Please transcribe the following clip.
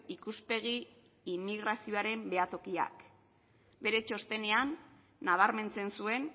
ikuspegi immigrazioaren behatokiak bere txostenean nabarmentzen zuen